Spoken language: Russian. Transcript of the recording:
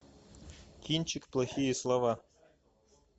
кинчик плохие слова